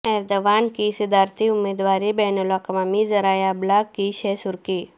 Erdogan کی صدارتی امیدواری بین الاقوامی ذرائع ابلاغ کی شہہ سرخی